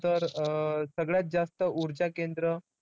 तर अं सगळ्यात जास्त ऊर्जाकेन्द्र.